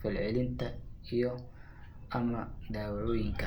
falcelinta, iyo/ama daawooyinka.